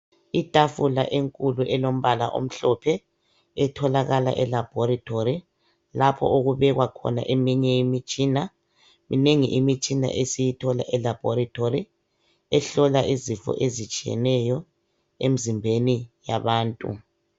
Itafula enkulu elombala omhlophe etholakala elaboratory lapho okubekwa khona eminye emitshina, minengi imitshina esiyithola elaboratory ehlola izifo ezitshiyeneyo enzimbeni yabantu.